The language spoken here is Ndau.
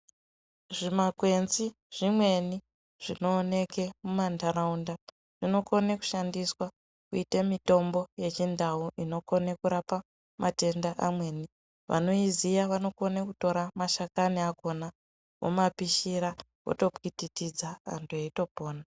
Zvimakwenzi zvimweni zvinooneke muntaraunda ,zvinokone kushandiswa kuite mitombo yechindau inokone kurapa matenda amweni. Vanoiziya vanokone kutora mashakani akhona, vomapishira votopwititidza antu eitopona.